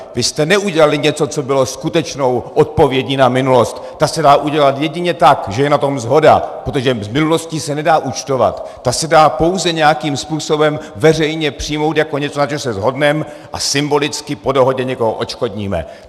Vy jste neudělali něco, co bylo skutečnou odpovědí na minulost, ta se dá udělat jedině tak, že je na tom shoda, protože s minulostí se nedá účtovat, ta se dá pouze nějakým způsobem veřejně přijmout jako něco, na čem se shodneme, a symbolicky po dohodě někoho odškodníme.